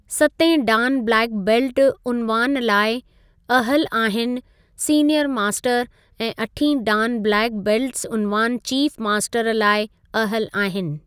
सतें dan black belt उनवान लाइ अहल आहिनि सीनिअर मास्टर ऐं अठीं डान ब्लैक बेल्ट्स् उनवान चीफ़ मास्टर लाइ अहल आहिनि।